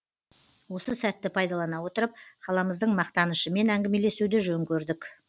осы сәтті пайдалана отырып қаламыздың мақтанышымен әңгімелесуді жөн көрдік